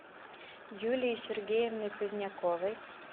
юлией сергеевной поздняковой